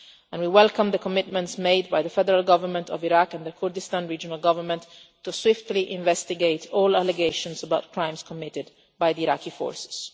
We welcome the commitments made by the Federal Government of Iraq and the Kurdistan Regional Government to investigate swiftly all allegations of crimes committed by the Iraqi forces.